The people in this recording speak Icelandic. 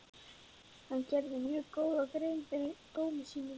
Hann gerði mjög góða grein fyrir dómi sínum.